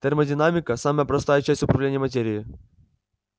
термодинамика самая простая часть управления материей